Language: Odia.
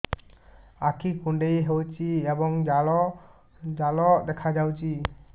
ଆଖି କୁଣ୍ଡେଇ ହେଉଛି ଏବଂ ଜାଲ ଜାଲ ଦେଖାଯାଉଛି